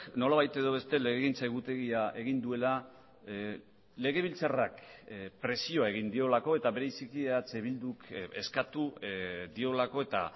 nolabait edo beste legegintza egutegia egin duela legebiltzarrak presioa egin diolako eta bereziki eh bilduk eskatu diolako eta